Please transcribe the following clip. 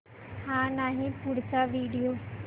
हा नाही पुढचा व्हिडिओ